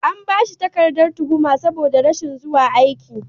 An ba shi takardar tuhuma sabo da rashin zuwa aiki.